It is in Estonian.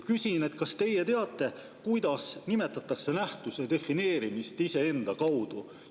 Küsin: kas teie teate, kuidas nimetatakse nähtuse defineerimist iseenda kaudu?